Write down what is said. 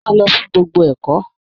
Máa lọ fún gbogbo ẹ̀kọ́!